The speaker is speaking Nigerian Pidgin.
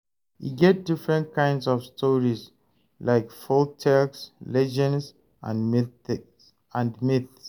E get different kinds of stories, like folktales, legends, and myths